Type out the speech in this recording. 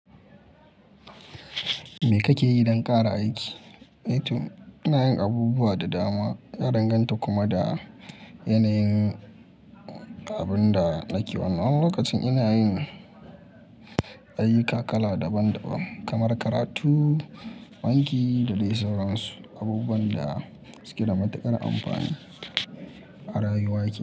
Me kake yi don ƙara aiki? Eh to, ina yin abubuwa da dama, ya danganta kuma da yanayin abin da nake wannan. Wani lokacin ina yin ayyuka kala daban-daban kamar karatu, banki da dai sauransu, abubuwan da suke da matuƙar amfani a rayuwarki.